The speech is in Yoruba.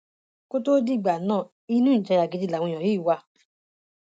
kó tóó dìgbà náà inú ìjayà gidi làwọn èèyàn yìí wà